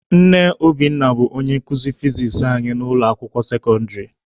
Nne Obinna bụ onye nkuzi fizis anyị n'ụlọ akwụkwọ sekọndịrị.